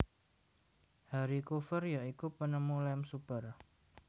Harry Coover ya iku penemu lem super